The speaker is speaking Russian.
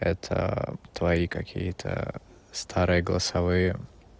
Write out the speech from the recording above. это твои какие-то старые голосовые